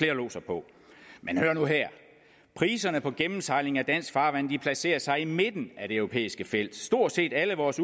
lodser på men hør nu her priserne på gennemsejling af dansk farvand placerer sig i midten af det europæiske felt stort set alle vores